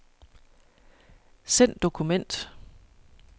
Send dokument.